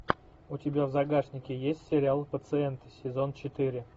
у тебя в загашнике есть сериал пациенты сезон четыре